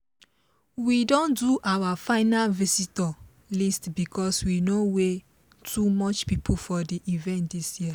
we don do our final visitor list because we no way too much people for the event this year